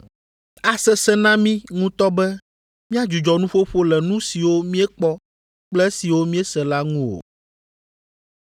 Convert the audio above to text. Asesẽ na mí ŋutɔ be míadzudzɔ nuƒoƒo le nu siwo míekpɔ kple esiwo míese la ŋu o.”